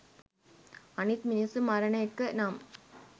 අනිත් මිනිස්සු මරණ එක නම්